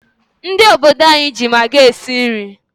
Ndị obodo anyị ji magi esi nri.